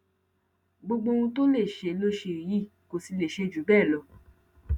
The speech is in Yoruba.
gbogbo ohun tó lè ṣe ló ṣe yìí kò sì lè ṣe jù bẹẹ lọ